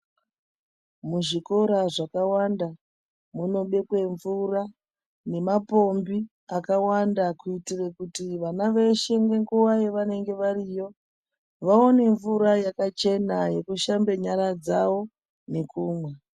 Muzvikora zvakawanda munobekwe mvura nemapombi akawanda kuitire kuti vana veshe ngenguwa yavanenge variyo vaone mvura yakachena yekushambe nyara dzawo nekumwa.